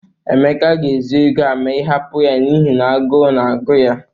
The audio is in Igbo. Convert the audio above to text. Emeka ga-ezu ego a ma ị hapụ ya n'ihi agụụ na-agụ ya.